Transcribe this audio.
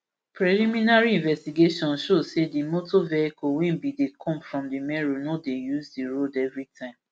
preliminary investigations show say di motor vehicle wey bin dey come from di meru no dey use di road evritime